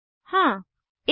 हाँ160